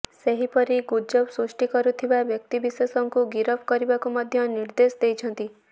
ସେହିପରି ଗୁଜବ ସୃଷ୍ଟି କରୁଥିବା ବ୍ୟକ୍ତିବିଶେଷଙ୍କୁ ଗିରଫ କରିବାକୁ ମଧ୍ୟ ନିର୍ଦ୍ଦେଶ ଦେଇଛନ୍ତି